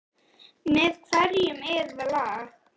Elísabet Hall: Með hverjum er það lag?